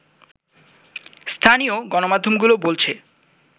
স্থানীয় গণমাধ্যমগুলো বলছে